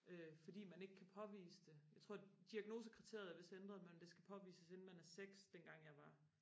øh fordi man ikke kan påvise det jeg tror diagnosekriteriet er vidst ændret men det skal påvises inden man er seks dengang jeg var